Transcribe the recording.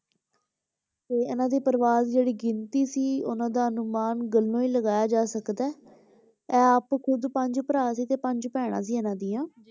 ਤੇ ਇਹਨਾਂ ਦੇ ਪਰਿਵਾਰ ਦੀ ਜਿਹੜੀ ਗਿਣਤੀ ਸੀ ਉਹਨਾਂ ਦਾ ਅਨੁਮਾਨ ਗੱਲੋਂ ਹੀ ਲਗਾਇਆ ਜਾ ਸਕਦਾ ਹੈ ਇਹ ਆਪ ਖੁੱਦ ਪੰਜ ਭਰਾ ਸੀ ਅਤੇ ਪੰਜ ਭੈਣਾਂ ਸੀ ਇਹਨਾਂ ਦੀਆਂ